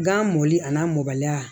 Gan mɔli a n'a mɔbaliya